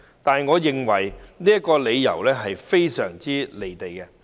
然而，我認為這個理由非常"離地"。